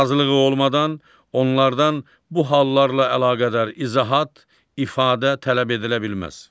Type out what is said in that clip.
Razılığı olmadan onlardan bu hallarla əlaqədar izahat, ifadə tələb edilə bilməz.